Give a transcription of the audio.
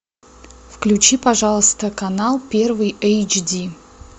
включи пожалуйста канал первый эйч ди